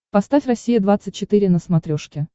поставь россия двадцать четыре на смотрешке